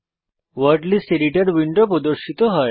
word list editor window প্রদর্শিত হয়